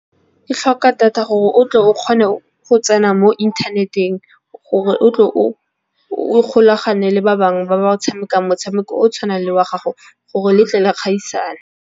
Ke tlhoka data gore o tle o kgone go tsena mo inthaneteng, gore o tle o kgolagane le ba bangwe ba ba o tshamekang motshameko o o tshwanang le wa gago gore le tle le kgaisane.